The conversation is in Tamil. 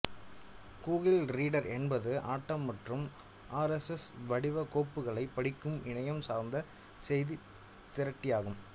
கூகிள் ரீடர் என்பது ஆட்டம் மற்றும் ஆர்எஸ்எஸ் வடிவ கோப்புகளைப் படிக்கும் இணையம் சார்ந்த செய்தித் திரட்டியாகும்